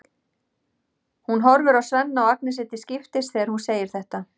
Hún horfir á Svenna og Agnesi til skiptis þegar hún segir þetta.